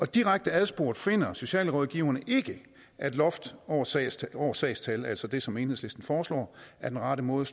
direkte adspurgt finder socialrådgiverne ikke at et loft over sagstal over sagstal altså det som enhedslisten foreslår er den rette måde